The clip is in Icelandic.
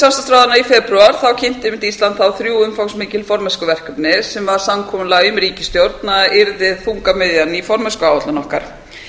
fundi samstarfsráðherranna í febrúar kynnti einmitt ísland þrjú umfangsmikil formennskuverkefni sem var samkomulag um í ríkisstjórn að yrði þungamiðjan í formennskuáætlun okkar